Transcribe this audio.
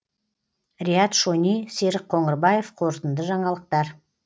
риат шони серік қоңырбаев қорытынды жаңалықтар